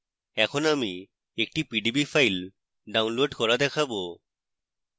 এখন আমি একটি pdb file download করা দেখাবো